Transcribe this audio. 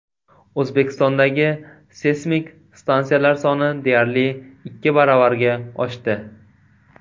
O‘zbekistondagi seysmik stansiyalar soni deyarli ikki baravarga oshdi.